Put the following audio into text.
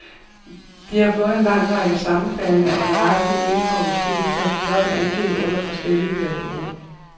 De har fået en lang række sammenfaldende og nøjagtigt ens forudsigelser blot angivet under forskellige perioder.